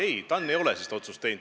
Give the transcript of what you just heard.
Ei, TAN ei ole sellist otsust teinud.